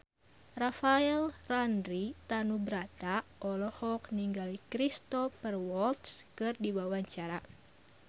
Rafael Landry Tanubrata olohok ningali Cristhoper Waltz keur diwawancara